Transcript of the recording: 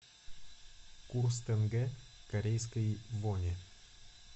курс тенге к корейской воне